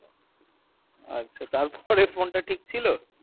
আচ্ছা তারপরে phone তা ঠিক ছিল